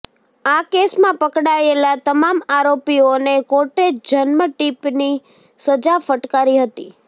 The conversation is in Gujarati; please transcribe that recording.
આ કેસમાં પકડાયેલા તમામ આરોપીઓને કોર્ટે જન્મટીપની સજા ફટકારી હતી